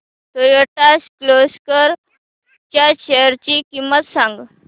Toyota Kirloskar च्या shares ची किंमत सांग